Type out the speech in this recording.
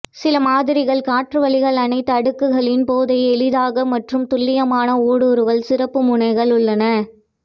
சில மாதிரிகள் காற்றுவழிகள் அனைத்து அடுக்குகளின் போதைப் எளிதாக மற்றும் துல்லியமான ஊடுருவல் சிறப்பு முனைகள் உள்ளன